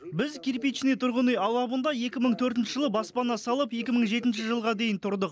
біз кирпичный тұрғын үй алабында екі мың төртінші жылы баспана салып екі мың жетінші жылға дейін тұрдық